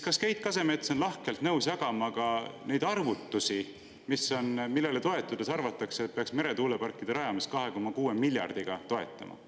Kas Keit Kasemets on lahkelt nõus jagama ka neid arvutusi, millele toetudes arvatakse, et peaks meretuuleparkide rajamist 2,6 miljardiga toetama?